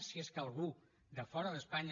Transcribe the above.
si és que algú de fora d’espanya